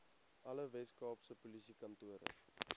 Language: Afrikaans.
alle weskaapse polisiekantore